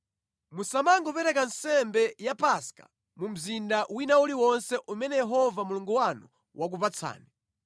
Musamangopereka nsembe ya Paska mu mzinda wina uliwonse umene Yehova Mulungu wanu wakupatsani,